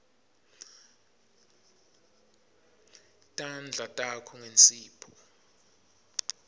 tandla takho ngensipho